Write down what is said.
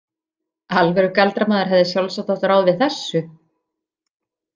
Alvöru galdramaður hefði sjálfsagt átt ráð við þessu.